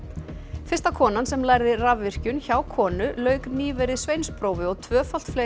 fyrsta konan sem lærði rafvirkjun hjá konu lauk nýverið sveinsprófi og tvöfalt fleiri